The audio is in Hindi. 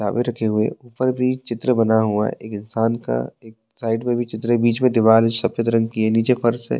किताबे रखे हुए ऊपर भी चित्र बना हुआ एक इंसान का एक साइड में भी चित्र है बीच में दीवाल सफ़ेद रंग की है नीचे फर्श है।